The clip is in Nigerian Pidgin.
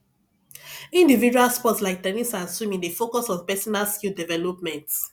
individual sports like ten nis and swimming dey focus on personal skill development